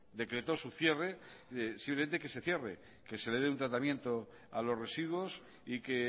decretó su cierre simplemente que se cierre que se le dé un tratamiento a los residuos y que